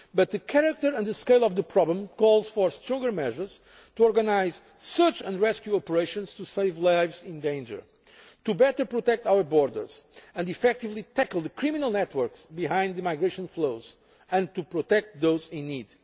to be realistic. But the character and scale of the problem calls for stronger measures to organise search and rescue operations to save lives in danger, to better protect our borders, to effectively tackle the criminal networks behind the migration flows and to protect